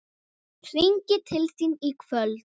Hringi til þín í kvöld!